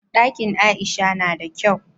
Ɗakin aisha nada kyau